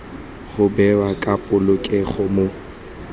go bewa ka polokego mo